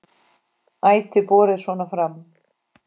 Ætíð borið svona fram.